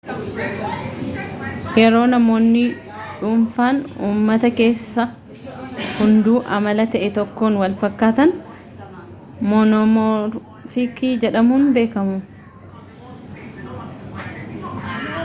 yeroo namoonni dhuunfaan uumata kessaa hunduu amala ta'e tokkoon walfakkaatan moonoomoorfiikii jedhamuun beekamu